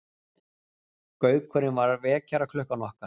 Gaukurinn var vekjaraklukkan okkar.